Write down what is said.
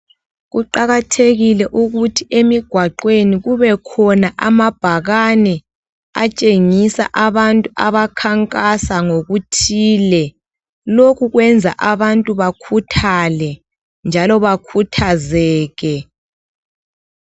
Kuqakathekile ukuthi emigwaqweni kubekhona amabhakani. Atshengisa abantu abakhankasa ngokuthile. Lokhu kwenza abantu bakhuthale, njalo bakhuthazeke.